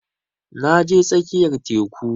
Na je tsakiyar teku